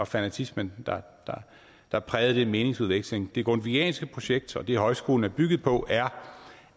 fanatismen der der prægede den meningsudveksling det grundtvigianske projekt og det højskolen er bygget på er